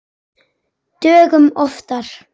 Dögum oftar.